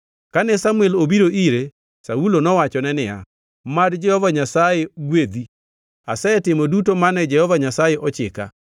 Kane Samuel obiro ire, Saulo nowachone niya, “Mad Jehova Nyasaye gwedhi! Asetimo duto mane Jehova Nyasaye ochika.”